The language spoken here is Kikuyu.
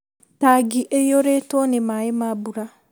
Tangi ĩiyũrĩtwo nĩ maĩ ma mbura